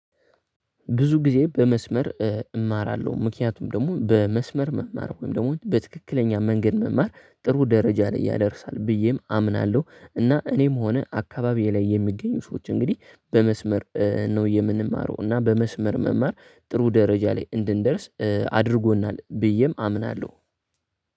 ብዙ ጊዜ በመስመር እማራለሁ ምክንያቱም ደግሞ በመስመር መማር ወይም ደግሞ በትክክለኛ መንገድ መማር ጥሩ ደረጃ ላይ ያደርሳል ብዬም አምናለሁ። እና እኔም ሆነ አካባቢዬ ላይ የሚገኙ ሰዎች እንግዲህ በመስመር ነው የምንማረው እና በመስመር መማር ጥሩ ደረጃ ላይ እንድንደርስ አድርጎናል ብዬም አምናለሁ።